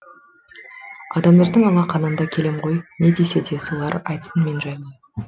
адамдардың алақанында келем ғой не десе де солар айтсын мен жайлы